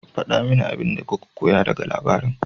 Faɗa mini abin da kuka koya daga labarin.